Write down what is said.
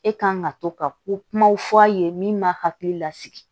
E kan ka to ka ko kumaw fɔ a ye min ma hakili lasigi